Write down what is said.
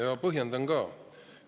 Põhjendan ka.